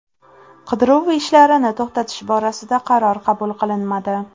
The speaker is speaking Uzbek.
Qidiruv ishlarini to‘xtatish borasida qaror qabul qilinmadi.